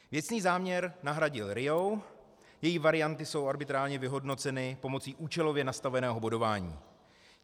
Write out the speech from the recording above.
Věcný záměr nahradil RIA, její varianty jsou arbitrárně vyhodnoceny pomocí účelově nastaveného bodování.